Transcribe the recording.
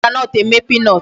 E ji groundnut eme peanut.